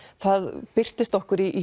það birtist okkur í